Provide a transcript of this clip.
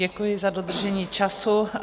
Děkuji za dodržení času.